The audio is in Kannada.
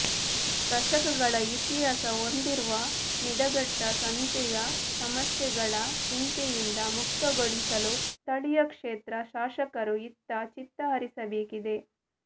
ದಶಕಗಳ ಇತಿಹಾಸ ಹೊಂದಿರುವ ನಿಡಘಟ್ಟ ಸಂತೆಯ ಸಮಸ್ಯೆಗಳ ಚಿಂತೆಯಿಂದ ಮುಕ್ತಗೊಳಿಸಲು ಸ್ಥಳೀಯ ಕ್ಷೇತ್ರ ಶಾಸಕರು ಇತ್ತ ಚಿತ್ತಹರಿಸಬೇಕಿದೆ